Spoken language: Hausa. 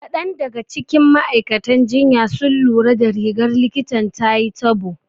Kaɗan daga cikin ma'aikatan jinya sun lura da rigar likitan tayi tabo.